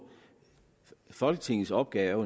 folketingets opgave